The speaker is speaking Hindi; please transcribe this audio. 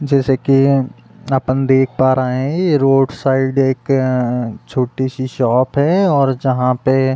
जैसे कि अपन देख पा रहे हैं ये रोड साइड एक अ छोटी-सी शॉप है और जहाँ पे --